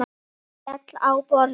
Maður féll á borðið.